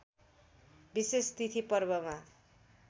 विशेष तिथि पर्वमा